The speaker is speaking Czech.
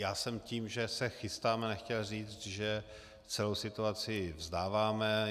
Já jsem tím, že se chystáme, nechtěl říct, že celou situaci vzdáváme.